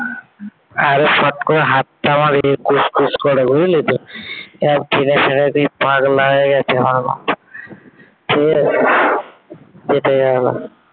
Array ফট করে হাতটা আমার এ খুসখুস করে বুঝলি তো? পাগলা হয়ে গেছে আমার বাপ ঠিক আছে । কেটে গেল।